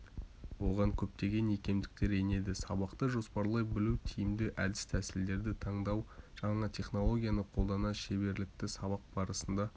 оған көптеген икемдіктер енеді сабақты жоспарлай білу тиімді әдіс-тәсілдерді таңдау жаңа технологияны қолдану шеберліктері сабақ барысында